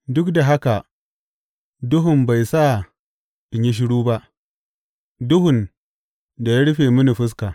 Duk da haka duhun bai sa in yi shiru ba, duhun da ya rufe mini fuska.